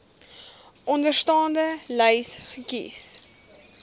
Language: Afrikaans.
onderstaande lys kies